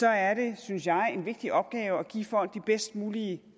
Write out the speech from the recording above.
er det synes jeg en vigtig opgave at give folk de bedst mulige